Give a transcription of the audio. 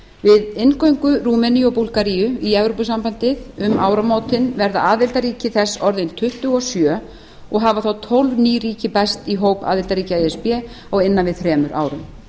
við inngöngu rúmeníu og búlgaríu í evrópusambandið um áramótin verða aðildarríki þess orðin tuttugu og sjö og hafa þá tólf ný ríki bæst í hóp aðildarríkja e s b á innan við þremur árum